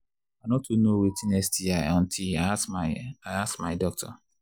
i no too know watin sti until i ask my i ask my doctor